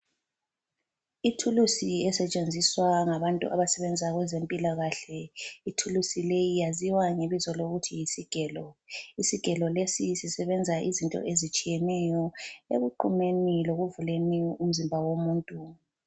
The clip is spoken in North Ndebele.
Ithulusi esetshenziswa ngabantu abasebenza kwezempilakahle. Ithulusi leyi yaziwa ngebizo lokuthi yisigelo. Isigelo lesi sisebenza izinto ezitshiyeneyo ekuqumeni lekuvuleni umzimba womuntu.